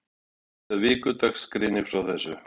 Vefsíða Vikudags greinir frá þessu.